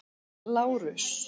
Lárus